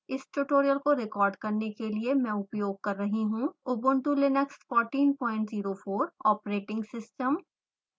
इस tutorial को record करने के लिए मैं उपयोग कर रही हूँ